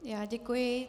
Já děkuji.